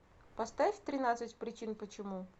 поставь тринадцать причин почему